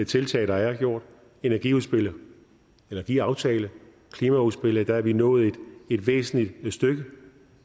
tiltag der er gjort energiaftalen energiaftalen klimaudspillet er vi nået et væsentligt stykke